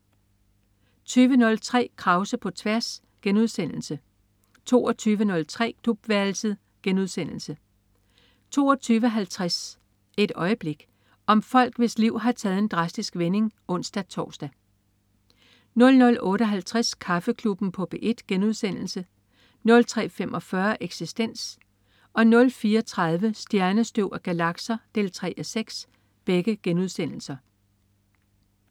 20.03 Krause på tværs* 22.03 Klubværelset* 22.50 Et øjeblik. Om folk, hvis liv har taget en drastisk vending (ons-tors) 00.58 Kaffeklubben på P1* 03.45 Eksistens* 04.30 Stjernestøv og galakser 3:6*